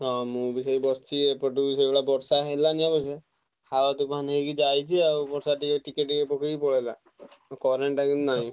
ମୁଁ ବି ସେଇ ବସିଛି ଆଉ ଏପଟେ ବି ସେଇଭଳିଆ ବର୍ଷା ହେଲାଣି ଅବଶ୍ୟ ତୋଫାନ ହେଇ ଯାଇଛି ଆଉ ବର୍ଷା ଟିକେଟିକେ ପକେଇକି ପଳେଇଲା current ଟା କିନ୍ତୁ ନାହିଁ।